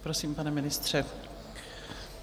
Prosím, pane ministře.